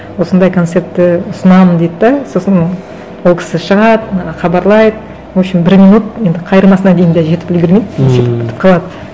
осындай концертті ұсынамын дейді де сосын ол кісі шығады хабарлайды в общем бір минут енді қайырмасына дейін де жетіп үлгермейді и сөйтіп бітіп қалады